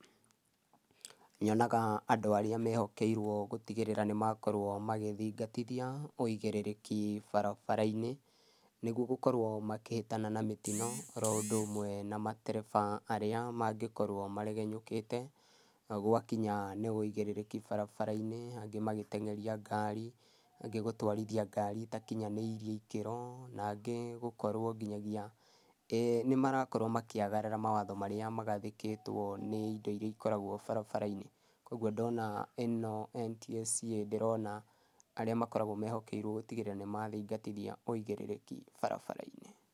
Nyonaga andũ arĩa mehokerũo gũtĩgĩrĩra nĩmakorũo makĩthĩgatĩthĩa wegĩrerekĩ barabara-ĩnĩ. Nĩgũo gũkorwo makĩhetana na mĩtĩno oro ũndũ ũmwe na matereba arĩa magĩkorwo marĩgenyũkĩte gwa kĩnya nĩ wegĩrerekĩ barabara-ĩnĩ, angĩ magĩtengerĩa ngarĩ, angĩ gũtwarĩthĩa ngarĩ ĩtakĩnyanĩrĩe ĩkĩro, na angĩ gũkorwo gĩthagĩa eeh nĩmarakorwo makĩagarara mawatho marĩa magatheketwo nĩ ĩndo ĩrĩa ĩkoragũo barabara-ĩnĩ. Kũogũo ndona ĩno NTSA ndĩrona arĩ mokoragũo mehokerũo gũtĩgerera nĩmathĩgatĩthĩa ũigĩrerekĩ barabara-ĩnĩ.